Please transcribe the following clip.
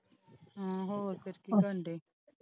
ਹਾਂ ਹੋਰ ਫੇਰ ਕੀ ਕਰਨ ਡਾਏ?